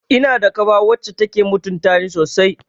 Ina da kawa wacce take mutuntani sosai